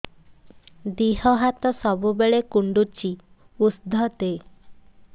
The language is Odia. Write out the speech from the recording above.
ଦିହ ହାତ ସବୁବେଳେ କୁଣ୍ଡୁଚି ଉଷ୍ଧ ଦେ